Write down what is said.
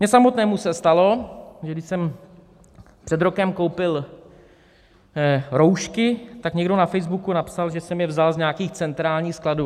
Mně samotnému se stalo, že když jsem před rokem koupil roušky, tak někdo na Facebooku napsal, že jsem je vzal z nějakých centrálních skladů.